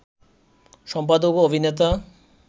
সম্পাদক ও অভিনেতা